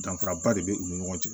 Danfaraba de bɛ u ni ɲɔgɔn cɛ